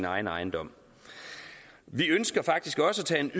egen ejendom vi ønsker faktisk også at tage en